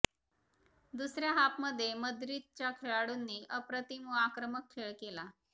दुसऱया हाफमध्ये माद्रिदच्या खेळाडूंनी अप्रतिम व आक्रमक खेळ केला